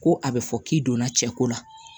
Ko a bɛ fɔ k'i donna cɛko la